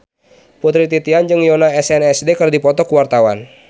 Putri Titian jeung Yoona SNSD keur dipoto ku wartawan